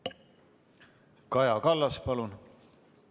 Kaja Kallas, palun!